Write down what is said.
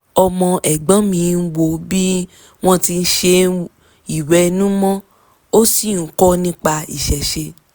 ọmọ ẹ̀gbọ́n mi wò bí wọ́n ti ń ṣe ìwẹ̀nùmọ́ ó sì ń kọ nípa ìṣẹ̀ṣe